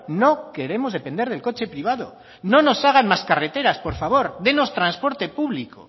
no queremos depender del coche privado no nos hagan más carreteras por favor dadnos transporte público